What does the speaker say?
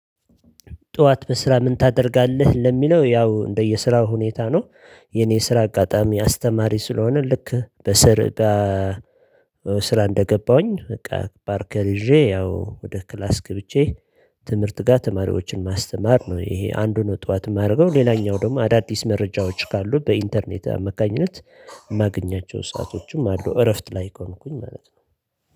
ጠዋት በስራ ምን ታደርጋለህ? ለሚለው ያው እንደየስራው ሁኔታ ነው። የኔ ስራ አጋጣሚ አስተማሪ ስለሆነ ልክ በስር። ስራ እንደገባሁኝ በቃ ባርከር ይዤ ያው ወደ ክላስ ግብቼ ትምህርት ጋር ተማሪዎችን ማስተማር ነው። ይሄ አንዱን ጠዋት የማደርገው ሌላኛው ደግሞ አዳዲስ መረጃዎች ካሉ በኢንተርኔት አመካኝነት የማገኛቸው ሰአቶችም አሉ። እረፍት ላይ ከሆንኩኝ ማለት ነው